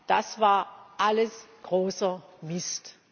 das war alles großer Mist.